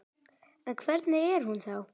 En hvernig er hún þá?